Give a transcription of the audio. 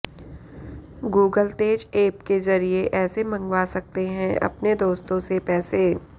Google Tez app के ज़रिए ऐसे मंगवा सकते हैं अपने दोस्तों से पैसे